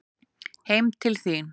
Heim til þín